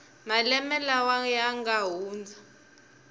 malembe lawa ya nga hundza